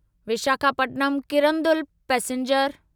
Visakhapatnam Kirandul passenger